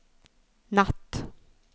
natt